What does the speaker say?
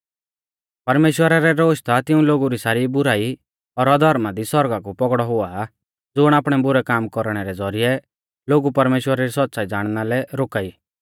परमेश्‍वरा रै रोश ता तिऊं लोगु री सारी बुराई और अधर्मा दी सौरगा कु पौगड़ौ हुआ ज़ुण आपणै बुरै काम कौरणै रै ज़ौरिऐ लोगु परमेश्‍वरा री सौच़्च़ाई ज़ाणना लै रोका ई